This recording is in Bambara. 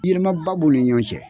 Yɛlɛmaba b'o ni ɲɔn cɛ